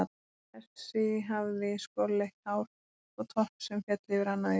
Þessi hafði skolleitt hár og topp sem féll yfir annað augað.